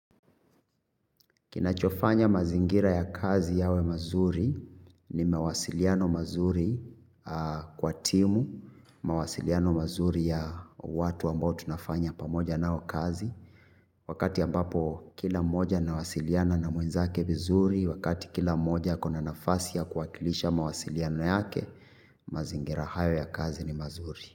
Kinachofanya mazingira ya kazi yawe mazuri ni mawasiliano mazuri kwa timu, mawasiliano mazuri ya watu ambao tunafanya pamoja nao kazi. Wakati ambapo kila mmoja anawasiliana na mwenzake vizuri, wakati kila mmoja ako na nafasi ya kuwakilisha mawasiliano yake, mazingira haya ya kazi ni mazuri.